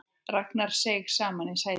Ragnar seig saman í sætinu.